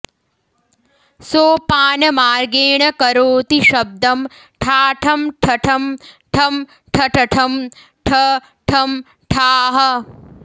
सोपान मार्गेण करोति शब्दं ठाठं ठठं ठं ठठठं ठ ठं ठाः